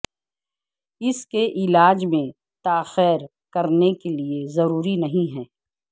اس کے علاج میں تاخیر کرنے کے لئے ضروری نہیں ہے